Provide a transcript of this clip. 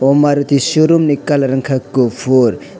aw maruti showroom ni kalar unkha kufur.